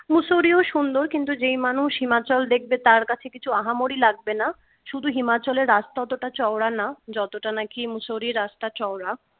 mussoorie ও সুন্দর কিন্তু যেই মানুষ himachal দেখবে তার কাছে কিছু আহামরি লাগবে না শুধু himachal এর রাস্তা অতটা চওড়া না যতটা নাকি Mussoorie এর রাস্তা চওড়া